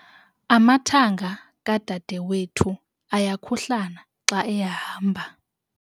Amathanga kadadewethu ayakhuhlana xa ehamba.